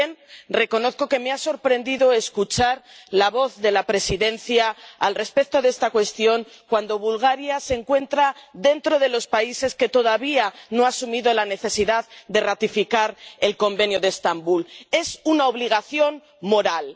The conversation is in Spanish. También reconozco que me ha sorprendido escuchar la voz de la Presidencia al respecto de esta cuestión, cuando Bulgaria se encuentra dentro de los países que todavía no han asumido la necesidad de ratificar el Convenio de Estambul. Es una obligación moral.